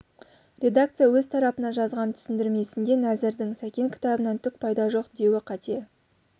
редакция өз тарапынан жазған түсіндірмесінде нәзірдің сәкен кітабынан түк пайда жоқ деуі қате